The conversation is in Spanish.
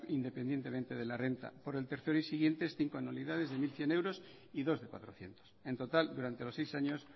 independientemente de la renta por el tercero y siguientes cinco anualidades de mil cien euros y dos de cuatrocientos en total durante los seis años